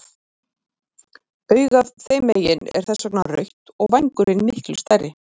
Augað þeim megin er þess vegna rautt og vængurinn miklu stærri.